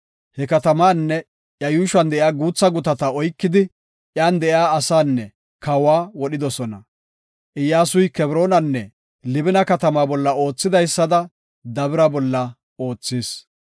He katamaanne iya yuushuwan de7iya guutha gutata oykidi, iyan de7iya asaanne kawa wodhidosona. Iyyasuy Kebroonanne Libina katamata bolla oothidaysada Dabira bolla oothis.